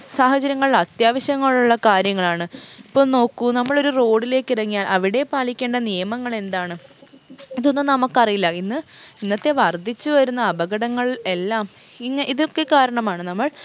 സാഹചര്യങ്ങൾ അത്യാവശ്യങ്ങളുള്ള കാര്യങ്ങളാണ് ഇപ്പൊ നോക്കൂ നമ്മളൊരു road ലേക്ക് ഇറങ്ങിയാൽ അവിടെ പാലിക്കേണ്ട നിയമങ്ങൾ എന്താണ് ഇതൊന്നും നമ്മക്കറിയില്ല ഇന്ന് ഇന്നത്തെ വർദ്ധിച്ചു വരുന്ന അപകടങ്ങൾ എല്ലാം ഇങ് ഇതൊക്കെ കാരണമാണ് നമ്മൾ